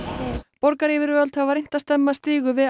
borgaryfirvöld hafa reynt að stemma stigu við